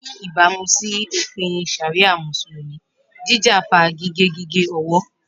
Ni ibamu si ofin sharia Musulumi, jija fa gige gige ọwọ.